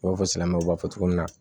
I b'a fɔ silamɛmɛw b'a fɔ cogo min na